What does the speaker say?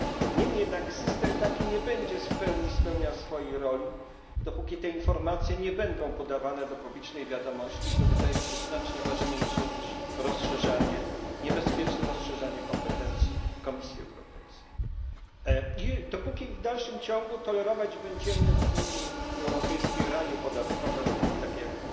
Niemniej jednak system taki nie będzie w pełni spełniał swojej roli, dopóki te informacje nie będą podawane do publicznej wiadomości i to wydaje mi się znacznie ważniejsze niż niebezpieczne rozszerzenie kompetencji Komisji Europejskiej i dopóki w dalszym ciągu tolerować będziemy w Unii Europejskiej raje podatkowe, takie jak